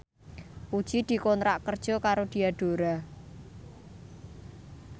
Puji dikontrak kerja karo Diadora